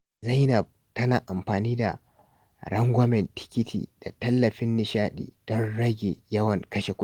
Zainab tana amfani da rangwamen tikiti da tallafin nishaɗi don rage yawan kashe kudi.